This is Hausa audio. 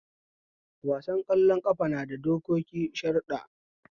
Wasan ƙwallon ƙafa nada dokoki sharuɗɗa